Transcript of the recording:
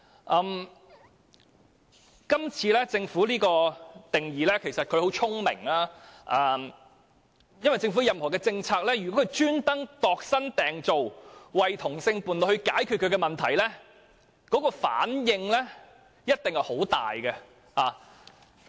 政府今次界定"相關人士"的定義時十分聰明，因為如果政府刻意為同性伴侶度身訂造以解決他們的問題，反應一定會十分大。